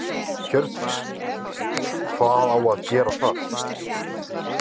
Hjördís: Hvað á að gera þar?